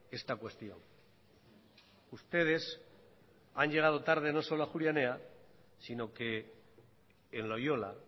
esta cuestión ustedes han llegado tarde no solo a ajuria enea sino que en loyola